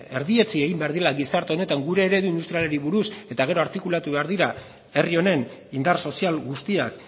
erdietsi egin behar dela gizarte honetan gure eredu industrialari buruz eta gero artikulatu behar dira herri honen indar sozial guztiak